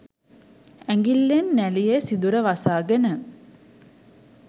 ඇඟිල්ලෙන් නැළියේ සිදුර වසාගෙන